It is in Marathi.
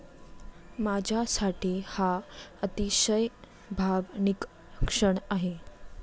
माझ्यासाठी हा अतिशय भावनिक क्षण आहे.